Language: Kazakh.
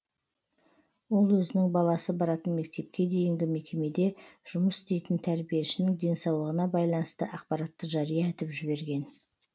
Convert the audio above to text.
ол өзінің баласы баратын мектепке дейінгі мекемеде жұмыс істейтін тәрбиешінің денсаулығына байланысты ақпаратты жария етіп жіберген